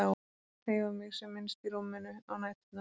Og ég reyndi að hreyfa mig sem minnst í rúminu á næturnar.